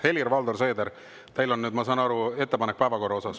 Helir-Valdor Seeder, teil on nüüd, ma saan aru, ettepanek päevakorra kohta.